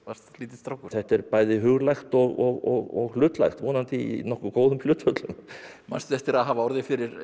lítill strákur þetta er bæði huglægt og hlutlægt vonandi í nokkuð góðum hlutföllum manstu eftir að hafa orðið fyrir